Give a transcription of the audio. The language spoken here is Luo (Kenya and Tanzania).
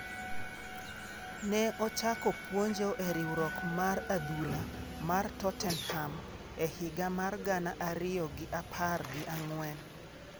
Ne ochako puonjo e riwruok mar adhula mar Tottenham e higa mar gana ariyo gi apar gi ang'wen.